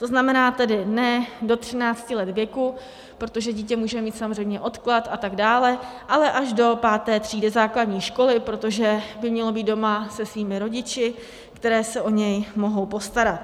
To znamená tedy ne do 13 let věku, protože dítě může mít samozřejmě odklad a tak dále, ale až do páté třídy základní školy, protože by mělo být doma se svými rodiči, kteří se o něj mohou postarat.